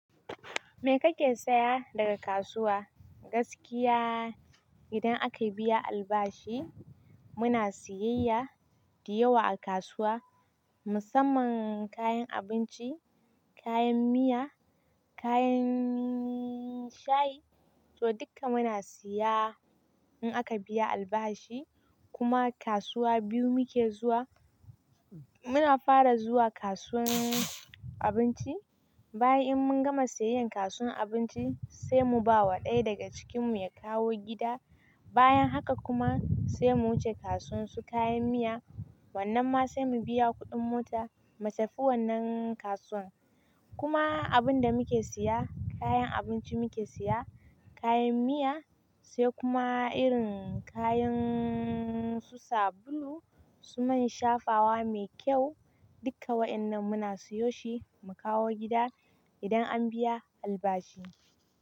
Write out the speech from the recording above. Me kake saya daga kasuwa? Gaskiya idan akayi biya albashi muna siyayya dayawa a kasuwa musamman kayan abinci, kayan miya, kayan shayi to duka muna siya in aka biya albashi. Kuma kasuwa biyu muke zuwa muna fara zuwa kasuwan abinci bayan in mun gama siyayyan kasuwan abinci sai mu bawa ɗaya daga cikin mu ya kawo gida bayan haka kuma sai mu wuce kasuwan su kayan miya wannan ma sai mu biya kuɗin mota matafi wannan kasuwan kuma abun da muke siya kayan abinci muke siya kayan miya sai kuma irin kayan su sabulu su man shafawa me kyau duka wa'annan muna siyo shi mu kawo gida idan an biya albashi.